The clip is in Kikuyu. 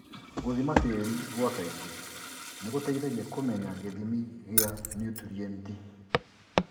Gũthima tĩri gwa kaingĩ nĩgũteithagia kũmenya gĩthimi gĩa niutrienti .